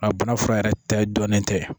A bana fura yɛrɛ ta dɔnnen tɛ